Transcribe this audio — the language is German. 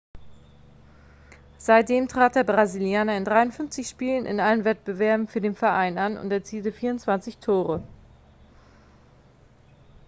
seitdem trat der brasilianer in 53 spielen in allen wettbewerben für den verein an und erzielte 24 tore